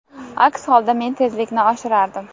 Aks holda men tezlikni oshirardim.